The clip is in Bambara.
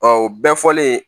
o bɛɛ fɔlen